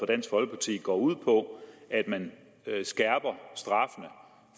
dansk folkeparti går ud på at man skærper straffene